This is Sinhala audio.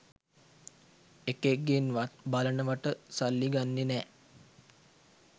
එකෙක්ගෙන්වත් බලනවට සල්ලි ගන්නෙ නෑ